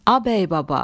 A bəy baba.